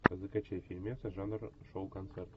закачай фильмец жанр шоу концерт